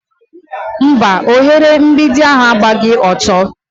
Mba, oghere mgbidi ahụ agbaghi ọtọ.